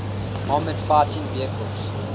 armored fighting vehicles